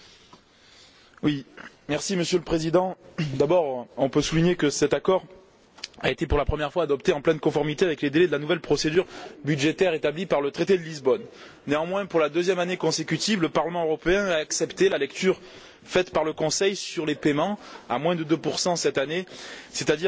Monsieur le Président, on peut d'abord souligner que cet accord a été, pour la première fois, adopté en pleine conformité avec les délais de la nouvelle procédure budgétaire établie par le traité de Lisbonne. Néanmoins, pour la deuxième année consécutive, le Parlement européen a accepté la lecture faite, par le Conseil, sur les paiements à moins de 2 cette année, c'est à dire moins que pour 2011 en termes réels.